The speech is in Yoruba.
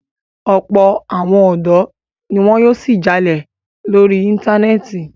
Ọ̀pọ̀ àwọn ọ̀dọ́ ni wọn yóò ṣì jalè lórí Íńtánẹ́ẹ̀tì.